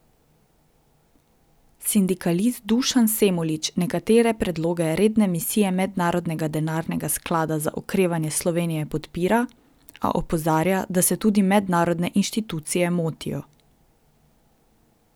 Sindikalist Dušan Semolič nekatere predloge redne misije Mednarodnega denarnega sklada za okrevanje Slovenije podpira, a opozarja, da se tudi mednarodne inštitucije motijo.